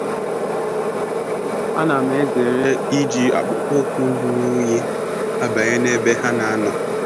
Ana m ezere iji akpụkpọ ụkwụ ruru unyi abanye na ebe ha nà ànó